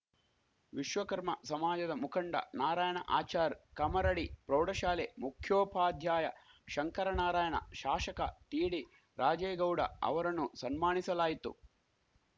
ವಿಶ್ವಕರ್ಮ ಸಮಾಜದ ಮುಖಂಡ ನಾರಾಯಣ ಆಚಾರ್‌ ಕಮ್ಮರಡಿ ಪ್ರೌಢಶಾಲೆ ಮುಖ್ಯೋಪಾಧ್ಯಾಯ ಶಂಕರನಾರಾಯಣ ಶಾಶಕ ಟಿಡಿ ರಾಜೇಗೌಡ ಅವರಣ್ಣು ಸಣ್ಮಾಣಿಸಲಾಯಿತು